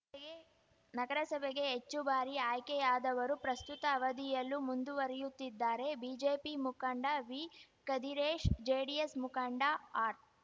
ಯೇ ನಗರಸಭೆಗೆ ಹೆಚ್ಚು ಬಾರಿ ಆಯ್ಕೆಯಾದವರು ಪ್ರಸ್ತುತ ಅವಧಿಯಲ್ಲೂ ಮುಂದುವರಿಯುತ್ತಿದ್ದಾರೆ ಬಿಜೆಪಿ ಮುಖಂಡ ವಿ ಕದಿರೇಶ್‌ ಜೆಡಿಎಸ್‌ ಮುಖಂಡ ಆರ್‌